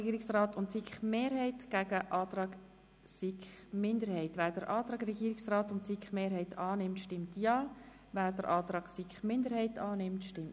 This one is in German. Regierungsrat/SiKMehrheit und SiK-Minderheit einander gegenübergestellt zur Abstimmung.